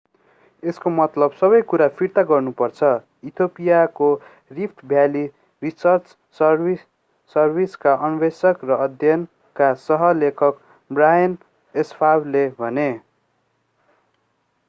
यसको मतलब सबै कुरा फिर्ता गर्नु पर्छ इथियोपियाको रिफ्ट भ्याली रिसर्च सर्भिसका अन्वेषक र अध्ययनका सह लेखक बर्हाने एस्फावले भने